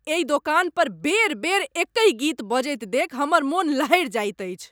एहि दोकान पर बेर बेर एकहि गीत बजैत देखि हमर मन लहरि जाइत अछि।